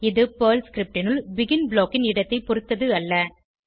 இது Perl script னுள் begin block ன் இடத்தை பொருத்தது அல்ல